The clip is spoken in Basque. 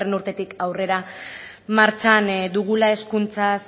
urtetik aurrera martxan dugula hezkuntza